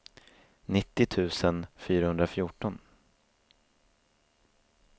nittio tusen fyrahundrafjorton